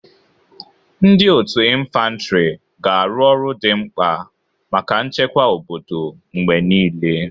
Ndị otu infantri ga-arụ ọrụ dị mkpa maka nchekwa obodo mgbe niile.